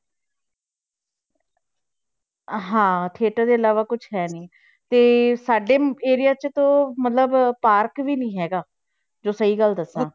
ਹਾਂ theater ਦੇ ਇਲਾਵਾ ਕੁਛ ਹੈ ਨੀ, ਤੇ ਸਾਡੇ area 'ਚ ਤਾਂ ਮਤਲਬ park ਵੀ ਨੀ ਹੈਗਾ ਜੋ ਸਹੀ ਗੱਲ ਦੱਸਾਂ।